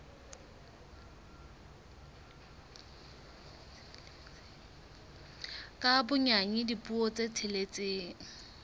ka bonyane dipuo tse tsheletseng